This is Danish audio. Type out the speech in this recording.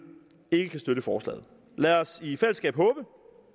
ikke kan støtte forslaget lad os i fællesskab håbe